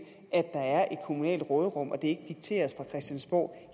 kommunalt råderum og at det ikke dikteres fra christiansborg